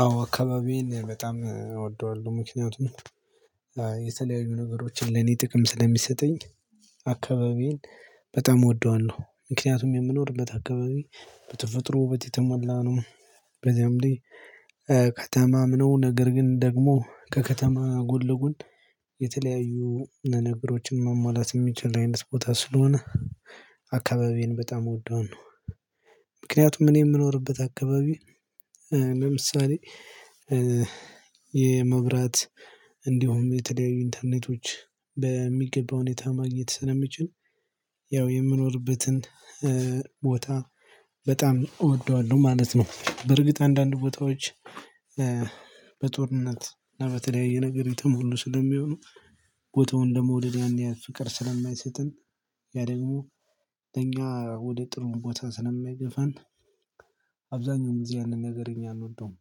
አዎ አካባቢዬን በጣም እወደዋለሁ ምክንያቱም የተለያዩ ነገሮችን ለኔ ጥቅም ስለሚሰጠኝ አካባቢን በጣም እወደዋለሁ ምክንያቱም የምኖርበት አካባቢ በተፈጥሮ ውበት የተሞላ ነው። በዚያም ላይ ከከተማም ነው ነገር ግን ደግሞ ከከተማ ጎንለጎል የተለያዩ ነገሮችን መሟላት የሚችል አይነት ቦታ ስለሆነ አካባቢን በጣም እወደዋለው። ምክንያቱም እኔ የምኖርበት አካባቢ ለምሳሌ የመብራት እንዲሁም የተለያዩ ኢንተርኔቶች በሚገባ ሁኔታ ማግኘት ስለሚችል ያው የምኖርበትን ቦታ በጣም እወደዋለሁ ማለት ነው። በርግጥ አንዳንድ ቦታዎች በጦርነት እና በተለያየ ነገር የተሞሉ ስለሚሆኑ ቦታውን ደግሞ ለመውደደ ያን ያህል ፍቅር ስለማይሰጠን ያ ደግሞ ለኛ ወደ ጥሩ ቦታ ስለማይገፋን አብዛኛውም ጊዜ ያንን ነገር እኛ አንወደውም።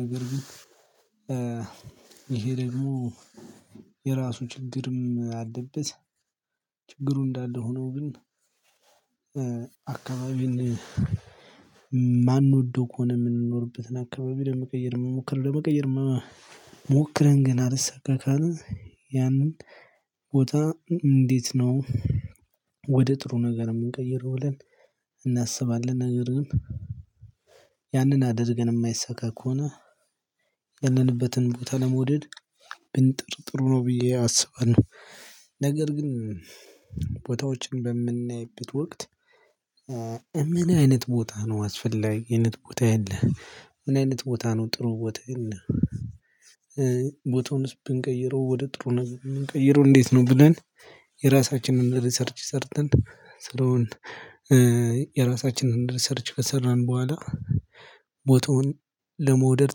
ነገር ግን ይሄ ደግሞ የራሱ ችግርም አለበት። ችግሩ እንዳለ ሆኖ ግን አካባቢን የማንወደው ከሆነ የምንኖርበትን አካባቢ ለመቀየር መሞከር ለመቀየር መሞከርን ግን አልሰካ ካልን ያንን ቦታ እንዴት ነው ወደ ጥሩ ነገር የምንቀይረው ብለን እናስባለን? ነገር ግን ያንን አድርገን የማይሰካ ከሆነ ያለንበትን ቦታ ለመውደድ ብንጥር ጥሩ ነው ብዬ አስባለሁ። ነገር ግን ቦታዎችን በምናይበት ወቅት እምን አይነት ቦታ ነው አስፈላጊ አይነት ቦታ የለህ ምን አይነት ቦታ ነው ጥሩ ቦታ ነው? ቦታውን ብንቀይረው ወደ ጥሩ ነት የምንቀይረው እንዴት ነው ብለን የራሳችንን ሪሰርች ሰርተን ስለሆን። የራሳችንን ሪሰርች ከሰራን በኋላ ቦታውን ለመውደድ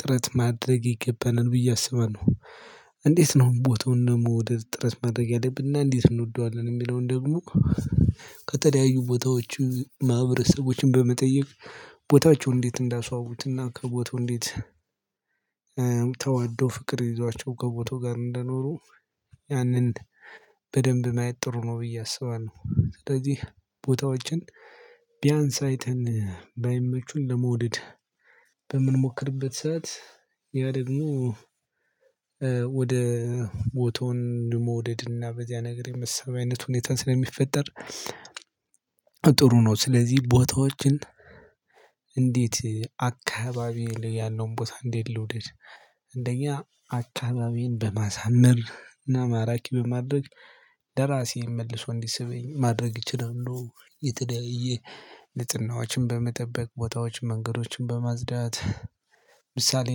ጥረት ማድረግ ይገባናል ብዬ አስባለሁ። እንዴት ነው ቦታውን ለመውደድ ጥረት ማድረግ ያለብና እንዴት እንወደዋለን የሚለውን ደግሞ ከተለያዩ ቦታዎች ማህበረሰቦችን በመጠየቅ ቦታቸው እንዴት እንዳስዋቡትና ከቦታው እንዴት ተዋደው ፍቅር ይዟቸው ከቦታው ጋር እንደኖሩ ያንን በደንብ ማየት ጥሩ ነው ብዬ አስባለሁ። ስለዚህ ቦታዎችን ቢያንስ አይተን ባይመቹን ለመውደድ በምንሞክርበት ሰዓት ያ ደግሞ ወደ ቦታውን ደግሞ ወደ ድንና በዚያ ነገር የመሰበሰብ አይነት ሁኔታን ስለሚፈጠር ጥሩ ነው። ስለዚህ ቦታዎችን እንዴት አካባቢ ያለውን ቦታ እንዴት ልውደድ? አንደኛ አካባቢን በማሳመር እና ማራኪ በማድረግ ለራሴም መልሶ እንዲሰበኝ ማድረግ እችላለሁ። የተደያየ ንፁህዎችን በመጠበቅ ቦታዎች መንገዶችን በማጽዳት ምሳሌ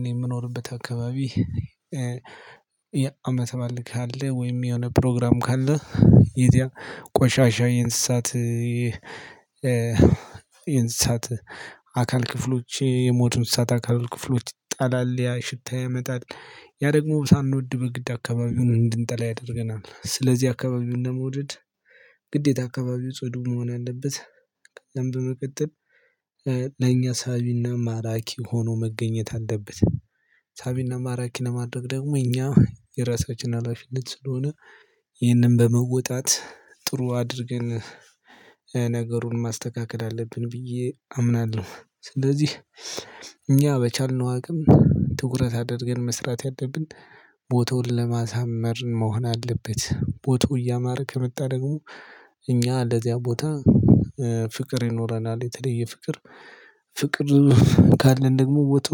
እኔ የምኖርበት አካባቢ የአመት በዓል ካለ ወይም የሆነ ፕሮግራም ካለ የዚያ ቆሻሻ የእንስሳት የእንስሳት አካል ክፍሎች የሞቱ እንስሳት አካል ክፍሎች ይጣላል ያ ሽታ ያመጣል ያ ደግሞ ሳንወድ በግድ አካባቢ እንድንጠላ ያደርገናል ስለዚህ አካባቢውን ለመውደድ ግዴታ አካባቢው ጽዱ መሆን አለበት። ከዛም በመቀጠል ለኛ ሳቢና ማራኪ ሆኖ መገኘት አለበት። ሳቢና ማራኪን ለማድረግ ደግሞ እኛ የራሳችን ሀላፊነት ስለሆነ ይህንን በመወጣት ጥሩ አድርገን ነገሩን ማስተካከል አለብን ብዬ አምናለሁ። ስለዚህ እኛ በቻልነው አቅም ትኩረት አድርገን መስራት ያለደብን ቦታውን ለማሳመር መሆን አለበት ቦታው እያማረ ከመጣ ደግሞ እኛ ለዚያ ቦታ ፍቅር ይኖረናል የተለየ ፍቅር ፍቅር ካለን ደግሞ ወጡ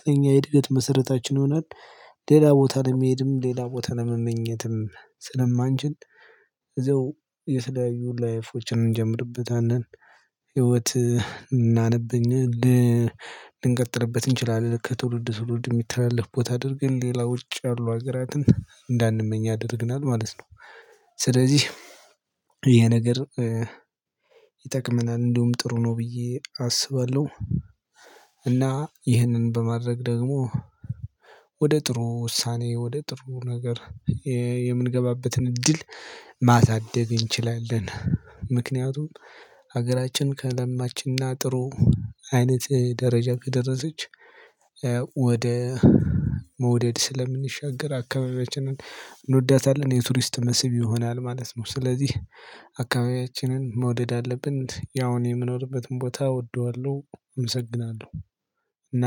ጥንኛ እድገት መሰረታችን ይሆናል። ሌላ ቦታ ለመሄድም ሌላ ቦታ ለመመኘትም ስለማንችል እዛው የተለያዩ ላይፍችን እንጀምርበታለን ህይወት እናነብኝ ልንቀጥልበት እንችላለን ከትውልድ ትውልድ የሚተላለፍ ቦታ አድርገን ሌላ ውጭ ያሉ ሀገራትን እንዳንመኝ ያደርገናል ማለት ነው። ስለዚህ ይሄ ነገር እንዲሁም ጥሩ ነው ብዬ አስባለሁ። እና ይህንን በማድረግ ደግሞ ወደ ጥሩ ውሳኔ ወደ ጥሩ ነገር የምንገባበትን እድል ማሳደግ እንችላለን። ምክንያቱም ሀገራችን ከለማችና ጥሩ አይነት ደረጃ ከደረሰች ወደ መውደድ ስለምንሻገር አካባቢያችንን እንወዳታለን የቱሪስት መስብ ይሆናል ማለት ነው። ስለዚህ አካባቢያችንን መውደድ አለብን ያውን የምኖርበትን ቦታ እወደዋለሁ አመሰግናለሁ። እና